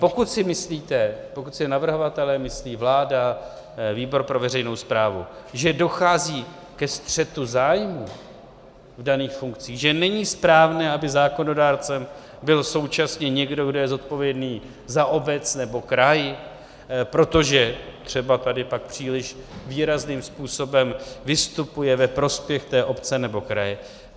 Pokud si myslíte, pokud si navrhovatelé myslí, vláda, výbor pro veřejnou správu, že dochází ke střetu zájmů v daných funkcích, že není správné, aby zákonodárcem byl současně někdo, kdo je zodpovědný za obec nebo kraj, protože třeba tady pak příliš výrazným způsobem vystupuje ve prospěch té obce nebo kraje.